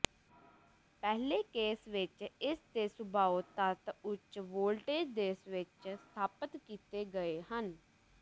ਪਹਿਲੇ ਕੇਸ ਵਿੱਚ ਇਸ ਦੇ ਸੁਭਾਉ ਤੱਤ ਉੱਚ ਵੋਲਟੇਜ ਦੇ ਸਵਿਚ ਸਥਾਪਿਤ ਕੀਤੇ ਗਏ ਹਨ